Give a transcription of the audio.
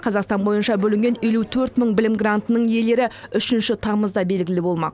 қазақстан бойынша бөлінген елу төрт мың білім грантының иелері үшінші тамызда белгілі болмақ